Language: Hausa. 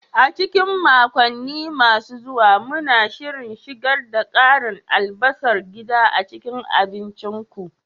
A cikin makonni masu zuwa, muna shirin shigar da karin albasar gida a cikin abincinku.